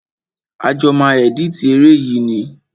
A jọ máa ẹ̀dítì eré yìí ni.